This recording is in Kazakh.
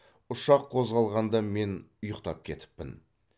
ұшақ қозғалғанда мен ұйықтап кетіппін